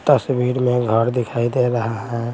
तस्वीर में घर दिखाई दे रहा है।